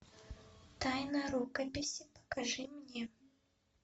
тайна рукописи покажи мне